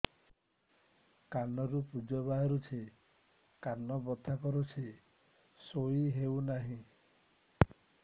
କାନ ରୁ ପୂଜ ବାହାରୁଛି କାନ ବଥା କରୁଛି ଶୋଇ ହେଉନାହିଁ